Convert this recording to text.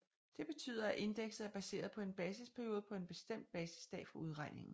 Det betyder at indekset er baseret på en basisperiode på en bestemt basisdag for udregningen